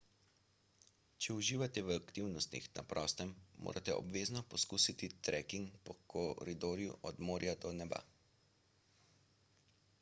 če uživate v aktivnostih na prostem morate obvezno poskusiti treking po koridorju od morja do neba